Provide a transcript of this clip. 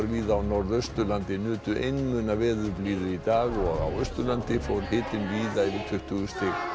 víða á Norðausturlandi nutu einmuna veðurblíðu í dag og á Austurlandi fór hitinn víða yfir tuttugu stig